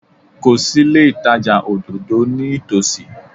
Kò sí ilé ìtajà òdòdó ní ìtòsí.